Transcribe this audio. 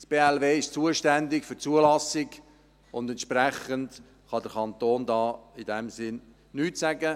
Das Bundesamt für Landwirtschaft (BLW) ist zuständig für die Zulassung, und entsprechend kann der Kanton da in diesem Sinn nichts sagen.